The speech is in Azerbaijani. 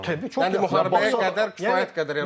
Təbii ki, yəni müharibəyə qədər kifayət qədər.